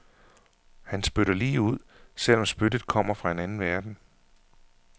Han spytter lige ud, selv om spyttet kommer fra en anden verden.